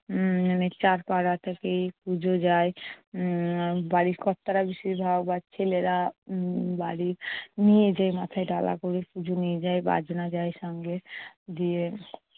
উম মানে চারপাড়া থেকে পুজো যায়। উম বাড়ির কর্তারা বেশিরভাগ বা ছেলেরা উম বাড়ি নিয়ে যায় মাথায় ডালা করে, পুজো নিয়ে যায়, বাজনা যায় সঙ্গে। দিয়ে